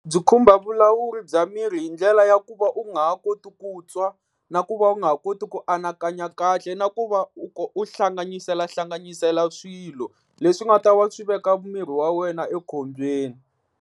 Byi khumba vulawuri bya miri hi ndlela ya ku va u nga ha koti ku twa, na ku va u nga ha koti ku anakanya kahle, na ku va u hlanganisela hlanganisela swilo, leswi nga ta va swi veka miri wa wena ekhombyeni.